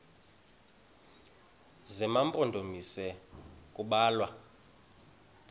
zema mpondomise kubalwa